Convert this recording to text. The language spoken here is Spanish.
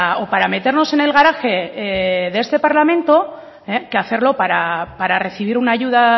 o para meternos en el garaje de este parlamento que hacerlo para recibir una ayuda